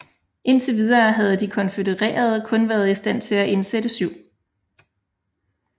Indtil videre havde de konfødererede kun været i stand til at indsætte 7